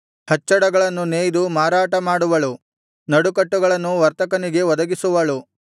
ಹಚ್ಚಡಗಳನ್ನು ನೆಯ್ದು ಮಾರಾಟಮಾಡುವಳು ನಡುಕಟ್ಟುಗಳನ್ನು ವರ್ತಕನಿಗೆ ಒದಗಿಸುವಳು